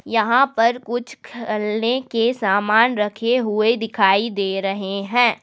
यहां पर कुछ खेलने के सामान रखे हुए दिखाई दे रहे हैं।